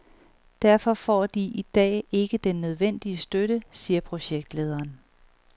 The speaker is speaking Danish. Derfor får de i dag ikke den nødvendige støtte, siger projektlederen.